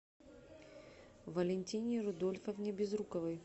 валентине рудольфовне безруковой